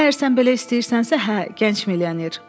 Əgər sən belə istəyirsənsə, hə, gənc milyoner.